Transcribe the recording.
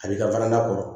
A b'i ka warini kɔrɔ